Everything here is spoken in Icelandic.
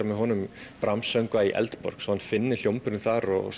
með honum Brahms söngva í Eldborg svo hann finni hljómburðinn þar og